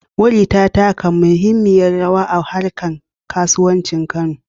Wuri ta taka muhimmiyar rawa a harkar kasuwancin Kano.